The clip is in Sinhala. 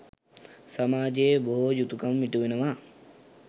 සමාජයේ බොහෝ යුතුකම් ඉටුවනවා.